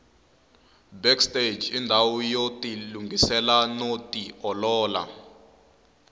backstage indawu yotilungisela noti olola